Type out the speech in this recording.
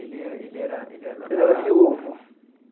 Ele era ele era ele era ele era viúvo.